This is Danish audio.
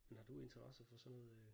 Men har du interesse for sådan noget øh